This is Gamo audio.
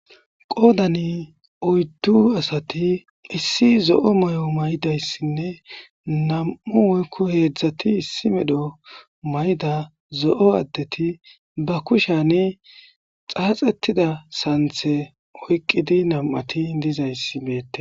qoodani oyddu asati issi zo7o may7o may7dayssinne nam7u woykko heedzdzati issi medho may7da zo7o addeti ba kushani xaaxettida santhe oyqqidi nam7ati dizaysi meette